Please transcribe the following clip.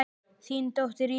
Þín dóttir, Íris.